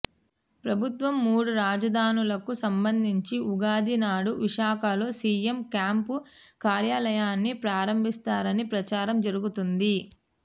ప్రభుత్వం మూడు రాజధానులకు సంబంధించి ఉగాది నాడు విశాఖలో సీఎం క్యాంపు కార్యాలయాన్ని ప్రారంభిస్తారన్న ప్రచారం జరుగుతోంది